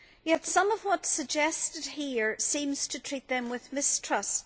Yet some of what is suggested here seems to treat them with mistrust.